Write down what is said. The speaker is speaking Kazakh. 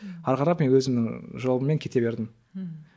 ары қарап мен өзімнің жолыммен кете бердім ммм